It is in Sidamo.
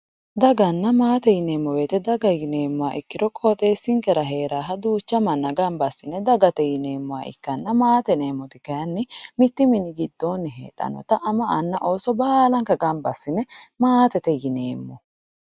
Daganna maate yineemmo woyte, daga yineemmo ikkiro qoxxeesinkera heeranoha duucha manna gamba assine dagate yineemmoha ikkanna maate yineemmoti kayinni mitu mini giddoni heedhanotta ama anna ooso gamba assine maatete yineemmo.